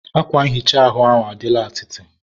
akwa nhicha ahụ adịla atịtị